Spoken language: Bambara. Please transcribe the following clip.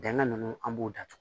Bɛnkan ninnu an b'u datugu